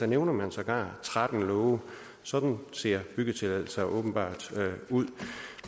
nævner sågar tretten love sådan ser byggetilladelser åbenbart ud